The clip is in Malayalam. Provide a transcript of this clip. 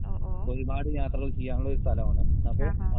ഓ ഓ. ആഹാ.